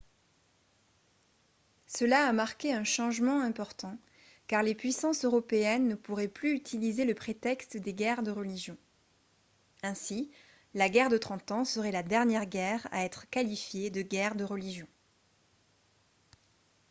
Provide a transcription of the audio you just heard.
cela a marqué un changement important car les puissances européennes ne pourraient plus utiliser le prétexte des guerres de religion ainsi la guerre de trente ans serait la dernière guerre à être qualifiée de guerre de religion